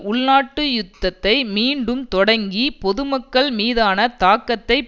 உள்நாட்டு யுத்தத்தை மீண்டும் தொடங்கி பொதுமக்கள் மீதான தாக்கத்தை